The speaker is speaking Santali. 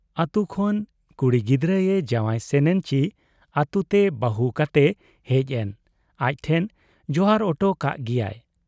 ᱟᱹᱛᱩ ᱠᱷᱚᱱ ᱠᱩᱲᱤ ᱜᱤᱫᱟᱹᱨ ᱮ ᱡᱟᱶᱟᱭ ᱥᱮᱱᱮᱱ ᱪᱤ ᱟᱹᱛᱩ ᱛᱮ ᱵᱟᱹᱦᱩ ᱠᱟᱛᱮᱭ ᱦᱮᱡ ᱮᱱ, ᱟᱡ ᱴᱷᱮᱱ ᱡᱚᱦᱟᱨ ᱚᱴᱚ ᱠᱟᱜ ᱜᱮᱭᱟᱭ ᱾